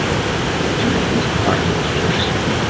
у тебя есть парни из джерси